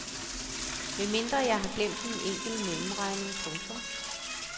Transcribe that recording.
Medmindre jeg har glemt en enkelt mellemregning. punktum